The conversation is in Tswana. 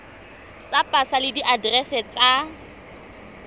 tsa pasa le diaterese tsa